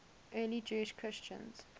early jewish christians